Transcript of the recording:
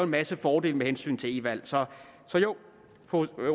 masse fordele med hensyn til e valg så så jo